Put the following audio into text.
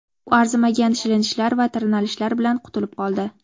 U arzimagan shilinishlar va tirnalishlar bilan qutulib qoldi.